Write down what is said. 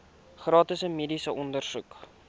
gratis mediese ondersoeke